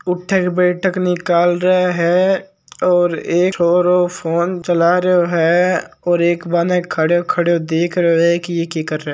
उठक बैठक निकाल रहे है और फ़ोन चला रियो है और एक बन खड्यो खड्यो देख रियो है की ये की कर रयो है।